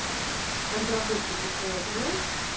разработчики по один эс